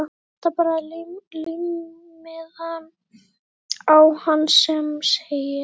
Það vantar bara límmiðann á hann sem segir